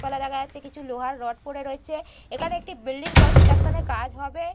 গাছপালা দেখা যাচ্ছে কিছু লোহার রড পড়ে রয়েছে এখানে একটি বিল্ডিং কনস্ট্রাকশন -এর কাজ হবে ।